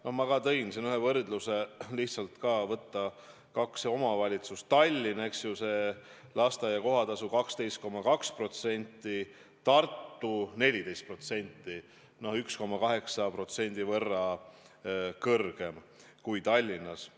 No ma tõin ka võrdluse, võtsin kaks omavalitsust: Tallinna, kus on lasteaia kohatasu 12,2% alampalgast, ja Tartu, kus see on 14% ehk 1,8% võrra kõrgem kui Tallinnas.